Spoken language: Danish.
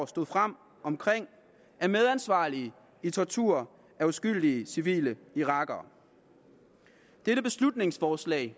stod frem er medansvarlige i tortur af uskyldige civile irakere dette beslutningsforslag